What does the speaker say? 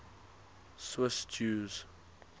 swiss jews